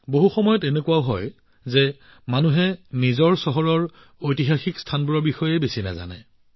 বহু সময়ত এনেকুৱা হয় যে মানুহে নিজৰ চহৰৰ ঐতিহাসিক স্থানৰ বিষয়ে বিশেষ একো নাজানে